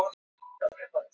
Frá Húsavík.